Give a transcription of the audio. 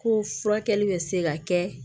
Ko furakɛli bɛ se ka kɛ